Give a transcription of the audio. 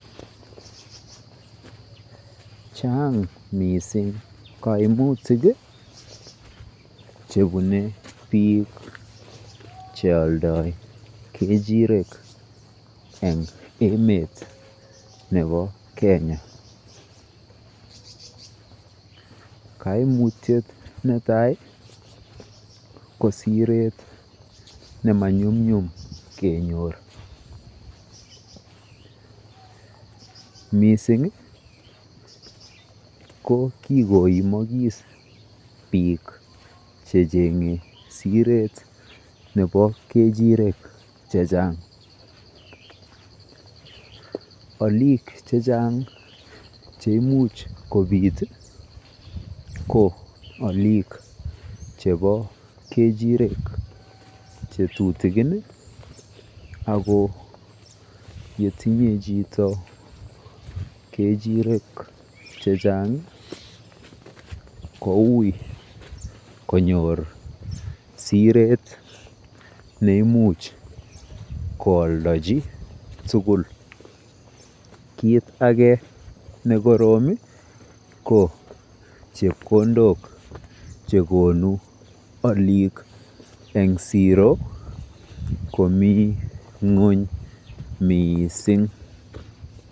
Chang mising kaimutik chebune bik chealdae kechirekeng emet nebo Kenya, kaimutyet netai ko Siret nemanyumnyum kenyor , mising ko kikoimakis bik chechenge Siret chebo kechirek chechang, olik chechang cheimuch kobit ko alikua chebo kechirek chetutikin, ako yetinye chito kechirek chechang, ko ui konyor Siret neimuch koaldachi tukul, kit ake nekorom ko chepkondok chekonu alikua eng siro komi ngonyor mising.